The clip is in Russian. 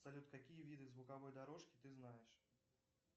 салют какие виды звуковой дорожки ты знаешь